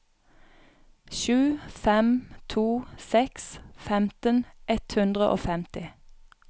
sju fem to seks femten ett hundre og femti